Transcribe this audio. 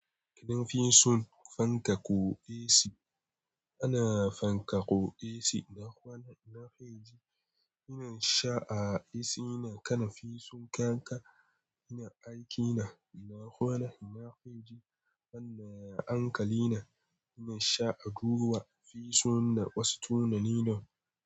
Kadafi sun fankaƙo aci, ana fankaƙo aci ina kwana ina fa ji, ina sha aci ina kana fisun kaka ina aikina ina kwana ina fa ji, anna ankali ina sha a duba fisun na wasu tunanin nan.